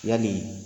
Yali